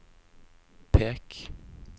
pek